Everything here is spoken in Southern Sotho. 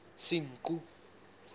senqu